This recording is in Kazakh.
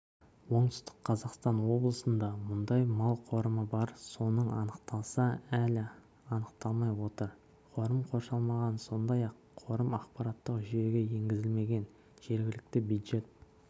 оңтүстік қазақстан облысында мұндай мал қорымы бар соның анықталса әлі анықталмай отыр қорым қоршалмаған сондай-ақ қорым ақпараттық жүйеге енгізілмеген жергілікті бюджет